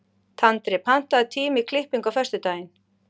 Tandri, pantaðu tíma í klippingu á föstudaginn.